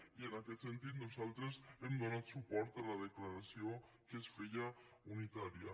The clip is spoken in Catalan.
i en aquest sentit nosaltres hem donat suport a la declaració que es feia unitària